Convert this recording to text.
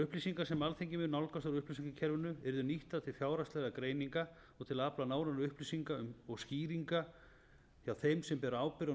upplýsingar sem alþingi mun nálgast úr upplýsingakerfinu yrðu nýttar til fjárhagslegra greininga og til að afla nánari upplýsinga og skýringa hjá þeim sem bera ábyrgð á